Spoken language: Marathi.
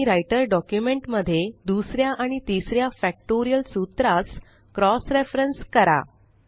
आणि राइटर डॉक्युमेंट मध्ये दुसऱ्या आणि तिसऱ्या फॅक्टोरियल सूत्रास क्रॉस रेफरन्स करा